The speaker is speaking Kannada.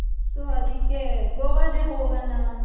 so ಅದಿಕ್ಕೆ ಗೋವಾಗೆ ಗೆ ಹೋಗಣ .